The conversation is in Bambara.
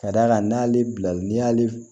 Ka d'a kan n'ale bila l'i y'ale